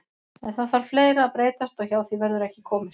En það þarf fleira að breytast og hjá því verður ekki komist.